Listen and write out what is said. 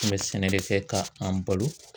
An bɛ sɛnɛ de kɛ ka an balo.